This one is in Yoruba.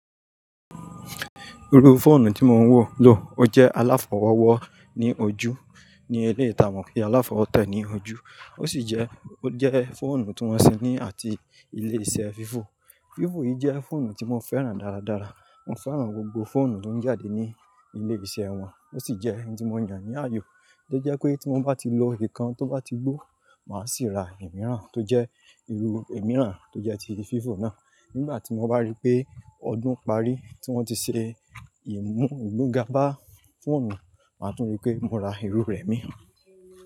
Irú fóònù tí mo ń wò ló, ó jẹ́ aláfọwọ́wọ́ ní ojú ní eléyìí tá mọ̀ kí aláfọwọ́tẹ́ ní ojú. Ó sì jẹ́, ó jẹ́ fóònù tí wọ́n ṣe ní àti ilé iṣẹ́ Vivo. Vivo yìí jẹ́ fóònù tí mo fẹ́ràn dáradára. Mo fẹ́ràn gbogbo fóònù tó ń jáde ní ilésẹ̀ wọn. Ó sì jẹ́ ẹni tí mo yàn ní ààyò. Ó jẹ́ pé tí mo bá ti lo ìkan tó bá ti gbó, màá sì ra ẹ̀ mìíràn tó jẹ́ irú ẹ̀ mìíràn tó jẹ́ ti Vivo náà. Nígbà tí mo bá rí pé ọdún parí tí wọ́n ti ṣe ìmú ìmúga bá fóònù, màá tún rí pé mo ra irú rẹ̀ mìí.